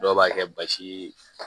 Dɔw b'a kɛ basi